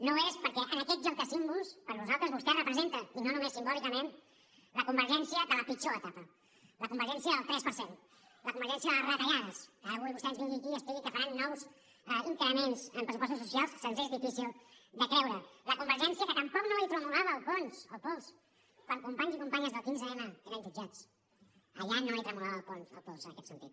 no ho és perquè en aquest joc de símbols per nosaltres vostè representa i no només simbòlicament la convergència de la pitjor etapa la convergència del tres per cent la convergència de les retallades que ara avui vostè ens vingui aquí i expliqui que faran nous increments en pressupostos socials ens és difícil de creure la convergència que tampoc no li tremolava el pols quan companys i companyes del quinze m eren jutjats allà no li tremolava el pols en aquest sentit